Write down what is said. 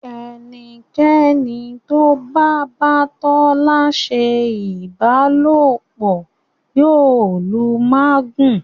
Enikeni tó bá ba Tola ṣe ìbálòpọ̀ yóò lù magun.